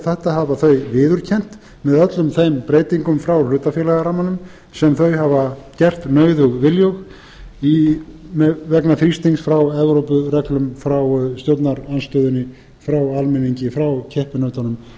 menntamálanefnd þetta hafa þau viðurkennt með öllum þeim breytingum frá hlutafélagarammanum sem þau hafa gert nauðug viljug vegna þrýstings frá evrópureglum frá stjórnarandstöðunni frá almenningi frá keppinautunum